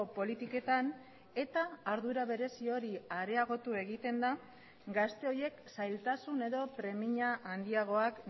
politiketan eta ardura berezi hori areagotu egiten da gazte horiek zailtasun edo premia handiagoak